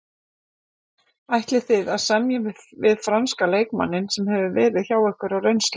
Ætlið þið að semja við franska leikmanninn sem hefur verið hjá ykkur á reynslu?